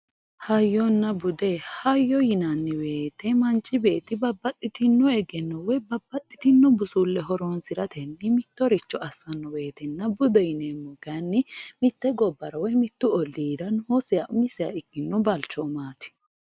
Hayyonna Bude. Hayyo yinanni woyiite manchi beetti babbaxitinno egenno woyi babbaxitinno busulle horonsiratenni mittoricho assanno woyitenna budeho yineemmohu mitte gobbara woy olliira noosiha umisiha ikkino balchoomaati.